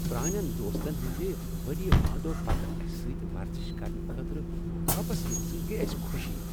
پرانین دوستن ہندِ ؤرۍیہٕ وادو پتہٕ اسہِ سۭتۍ ورزش کرنہٕ خٲطرٕ واپس ینہٕ سۭتۍ گٔیہ اسہِ خوشی۔